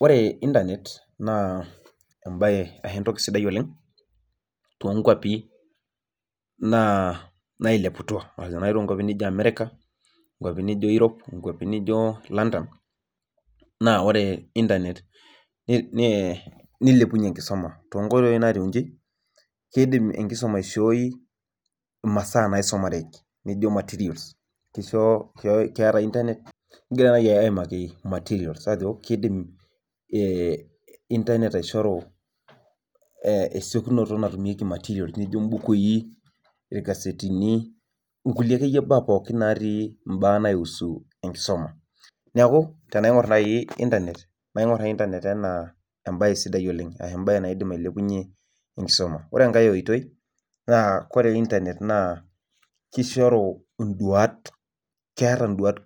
Ore internet naa embae ashu entoki sidai oleng toonkwapi naailepu ashu naa toonkwapi nijo America, nkwapi ni Europe, nkwapi nijo London. Naa ore internet nilepunye enkisuma too nkoitoi naatiu inji, kiidim enkisuma aishooi imasaa naisomareki nijo materials, keeta internet, kigira naai aimaki materials ajo kiidim internet aishoru esiokinoto duo natumieki materials nijo mbukui, irkasetini, nkulie akeyie baak naatii imbaak naiusu enkisuma. Neeku tenaingurr naai internet, naing'urr internet anaa embae sidai oleng, embae naadim ailepunye enkisuma. Ore enkae oitoi naa kore internet naa kishoru induat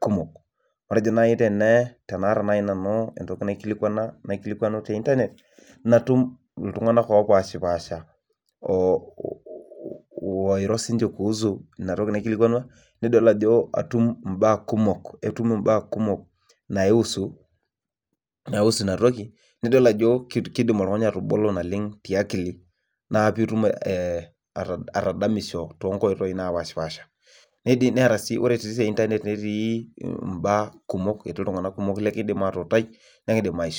kumok. Matejo naai tenaata nanu entoki naikilikwanu te internet natum iltung'anak oopashipaasha oiro siiniche kuhusu ina toki naikilikwana. Nidol ajo atum imbaak kumok, etum imbaak kumok naiusu ina toki nidol ajo kiidim oltung'ani atubulu naleng tiakili naa piitum atadamisho too nkoitoi naapashipaasha. Neeta sii, ore sii te internet netii imbaak kumok etii iltung'anak kumok lekiindim aatuutai nekiindim aisho